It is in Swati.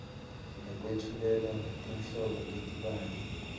nekwetfulela tinhlobo letibanti